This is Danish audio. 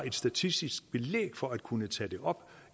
et statistisk belæg for at kunne tage det op